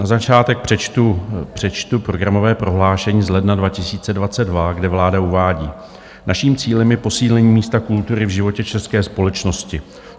Na začátek přečtu programové prohlášení z ledna 2022, kde vláda uvádí: Naším cílem je posílení místa kultury v životě české společnosti.